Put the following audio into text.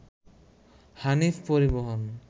হানিফ পরিবহন